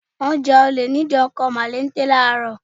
Wọ́n ja olè ní ìdí ọkọ̀ mọ̀lété Láàárọ̀.